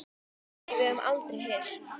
Nei, við höfum aldrei hist.